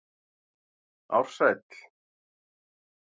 Ársæll